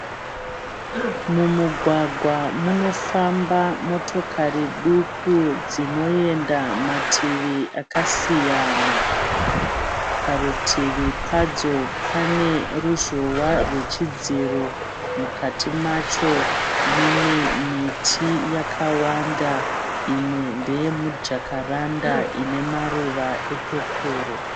Mumugwagwa munofamba motokari duku dzinoenda mativi akasiyana. Parutivi padzo pane ruzhowa rwechidziro. Mukati macho mune miti yakawanda imwe ndeye mujakaranda ine maruva epepuro.